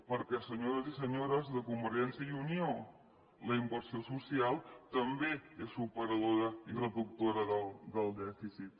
perquè senyors i senyores de convergència i unió la inversió social també és superadora i reductora del dèficit